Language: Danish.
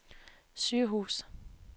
sygehus